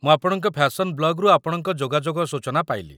ମୁଁ ଆପଣଙ୍କ ଫ୍ୟାସନ୍ ବ୍ଲଗ୍‌ରୁ ଆପଣଙ୍କ ଯୋଗାଯୋଗ ସୂଚନା ପାଇଲି